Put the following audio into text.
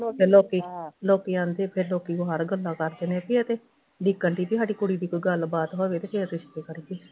ਲੋਕੀ ਲੋਕੀ ਆਂਦੇ ਫੇਰ ਲੋਕੀ ਬਾਹਰ ਗੱਲਾਂ ਕਰਦੇ ਨੇ ਬਈ ਇਹ ਤੇ ਉਡੀਕਣ ਡਈ ਸੀ ਸਾਡੀ ਕੁੜੀ ਦੀ ਕੋਈ ਗੱਲਬਾਤ ਹੋਵੇ ਤੇ ਫੇਰ ਰਿਸ਼ਤੇ ਕਰੀਏ